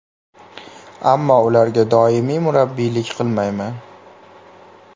Ammo ularga doimiy murabbiylik qilmayman.